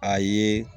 A ye